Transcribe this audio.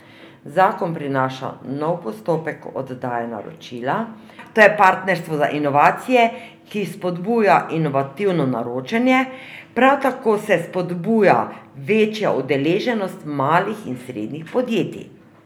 Zakon prinaša nov postopek oddaje naročila, to je partnerstvo za inovacije, ki spodbuja inovativno naročanje, prav tako se spodbuja večja udeleženost malih in srednjih podjetij.